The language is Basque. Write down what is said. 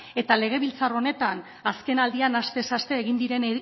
eta legebiltzar honetan azkenaldian astez aste egin diren